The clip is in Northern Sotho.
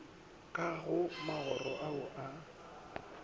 ka go magoro ao a